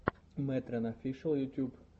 мэтрэн офишэл ютюб